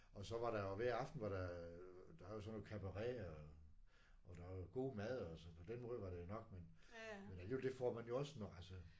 Og så var der jo hver aften var der der er jo sådan noget cabaret og og der er god mad altså på den måde var det jo godt nok men alligevel det får man jo også nok altså